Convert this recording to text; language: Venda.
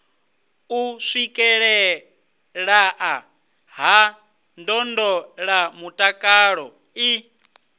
u swikelelea ha ndondolamutakalo i